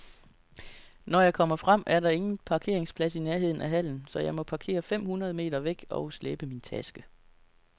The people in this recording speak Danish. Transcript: Når jeg kommer frem, er der ingen parkeringsplads i nærheden af hallen, så jeg må parkere fem hundrede meter væk og slæbe min taske.